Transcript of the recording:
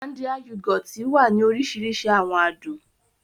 Ọ̀lándìà yògòtì wà ni òrìṣirìṣi awọn àdùn